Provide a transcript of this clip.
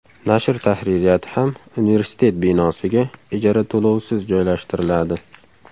Nashr tahririyati ham universitet binosiga ijara to‘lovisiz joylashtiriladi.